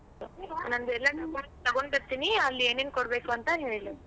ನಂದ್ ಎಲ್ಲಾನು ಬ~ ತೊಗೊಂಡ್ ಬರ್ತೀನಿ ಅಲ್ ಏನೇನ್ ಕೊಡ್ಬೇಕು ಅಂತ ಹೇಳು.